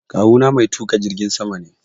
Kawu na mai tuƙa jirgin sama ne.